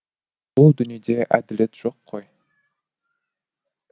бұл дүниеде әділет жоқ қой